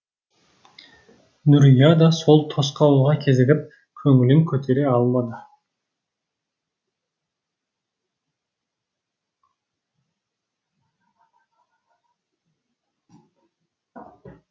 нұрия да сол тосқауылға кезігіп көңілін көтере алмады